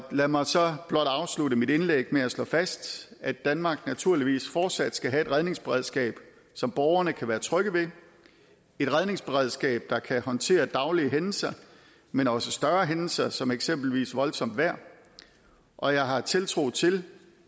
lad mig så blot afslutte mit indlæg med at slå fast at danmark naturligvis fortsat skal have et redningsberedskab som borgerne kan være trygge ved et redningsberedskab der kan håndtere daglige hændelser men også større hændelser som eksempelvis voldsomt vejr og jeg har tiltro til